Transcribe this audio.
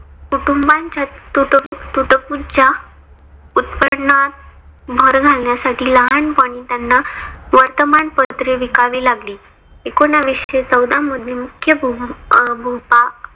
कुटुंबाच्या तुटपुंज्या उत्पन्नात भर घालण्यासाठी लहानपणी त्यांना वर्तमान पत्रे विकावी लागली. एकोनाविशे चौदा मधून मुख्यभूभाग